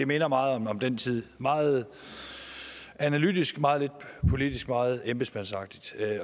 minder meget om den tid meget analytisk meget lidt politisk meget embedsmandsagtigt